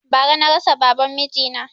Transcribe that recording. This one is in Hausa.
Bara na rasa baban miji na